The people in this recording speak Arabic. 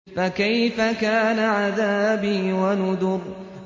فَكَيْفَ كَانَ عَذَابِي وَنُذُرِ